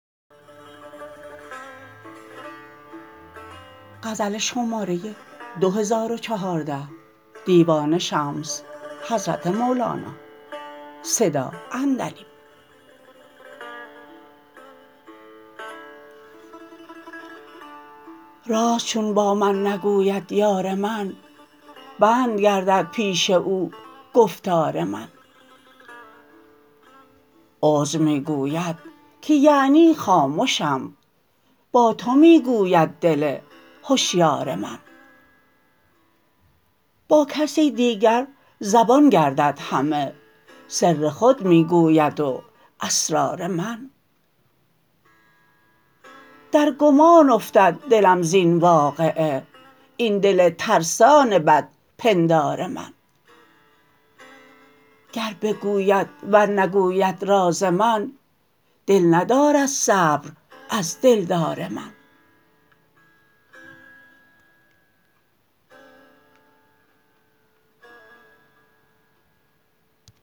راز چون با من نگوید یار من بند گردد پیش او گفتار من عذر می گوید که یعنی خامشم با تو می گوید دل هشیار من با کسی دیگر زبان گردد همه سر خود می گوید و اسرار من در گمان افتد دلم زین واقعه این دل ترسان بدپندار من گر بگوید ور نگوید راز من دل ندارد صبر از دلدار من